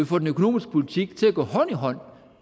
får den økonomiske politik til at gå hånd i hånd